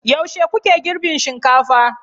Yaushe kuke girbin shinkafa?